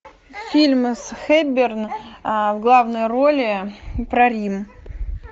фильмы с хепберн в главной роли про рим